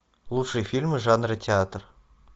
лучшие фильмы жанра театр